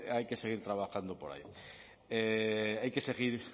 hay que seguir trabajando por ahí hay que seguir